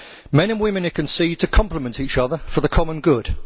Men and women are conceived to complement each other for the common good.